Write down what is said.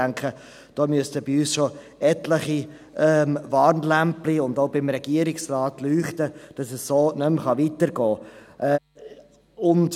Ich denke, da müssten bei uns und auch beim Regierungsrat schon etliche Warnlämpchen leuchten, dass es so nicht mehr weitergehen kann.